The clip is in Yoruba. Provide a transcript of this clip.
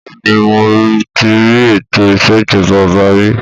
Bẹ́ẹ̀ni mo tí rí ètò ìṣèjọba ọba rí.